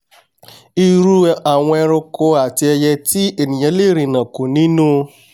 irú àwọn eranko àti ẹiyẹ tí ènìà lè rìnàkò nínú